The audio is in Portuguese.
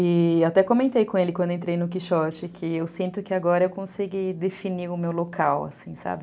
E até comentei com ele, quando entrei no Quixote, que eu sinto que agora eu consegui definir o meu local, assim, sabe?